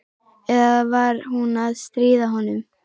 Eða var hún að stríða honum?